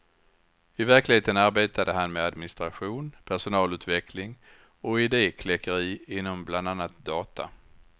I verkligheten arbetade han med administration, personalutveckling och idekläckeri inom bland annat data.